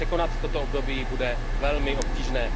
Překonat toto období bude velmi obtížné.